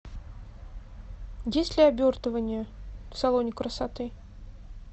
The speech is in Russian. есть ли обертывание в салоне красоты